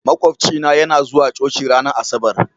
Makwafcina yana zuwa coci ranar Asabar.